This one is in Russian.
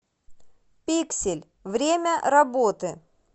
пиксель время работы